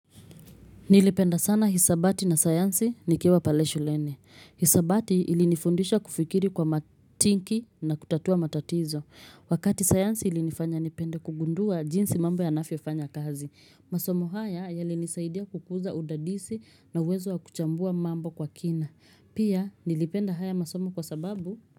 Nilipenda sana hisabati na sayansi nikiwa pale shuleni. Hisabati ilinifundisha kufikiri kwa matinki na kutatua matatizo. Wakati sayansi ilinifanya nipende kugundua jinsi mambo yaanavyofanya kazi. Masomo haya yalenisaidia kukuza udadisi na uwezo wa kuchambua mambo kwa kina. Pia nilipenda haya masomo kwa sababu.